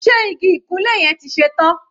Ṣe igi ìkunlé yẹn ti ṣe tán?